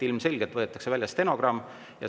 Ilmselgelt võetakse välja stenogramm.